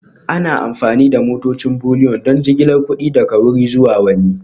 Ana amfani da motocin Bullion don jigilar kuɗi daga wuri zuwa wani